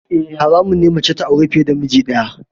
Eh, haramun ne ga mace ta auri fiye da miji daya.